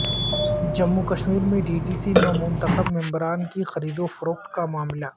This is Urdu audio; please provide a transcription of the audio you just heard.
جموں کشمیر میں ڈی ڈی سی نومنتخب ممبران کی خریدوفروخت کامعاملہ